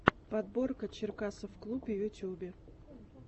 подборка черкасовклуб в ютубе